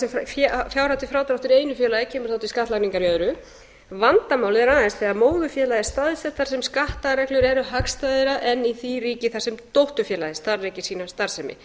sem fjárhæð til frádráttar í einu félagi kemur þá til skattlagningar í öðru vandamálið er aðeins þegar móðurfélagið er staðsett þar sem skattareglur eru hagstæðari en í því ríki þar sem dótturfélagið starfrækir sína starfsemi